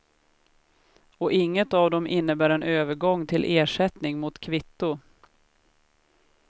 Och inget av dem innebär en övergång till ersättning mot kvitto.